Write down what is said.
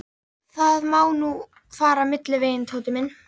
Það má nú fara milliveginn, Tóti minn.